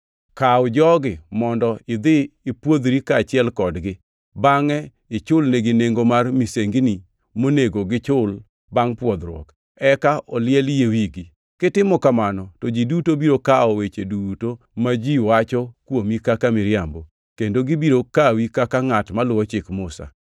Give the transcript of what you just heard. Kaw jogi mondo idhi ipwodhri kaachiel kodgi, bangʼe ichulnegi nengo mar misengini monego gichul bangʼ pwodhruok, eka oliel yie wigi. Kitimo kamano, to ji duto biro kawo weche duto ma ji wacho kuomi kaka miriambo, kendo gibiro kawi kaka ngʼat moluwo Chik Musa.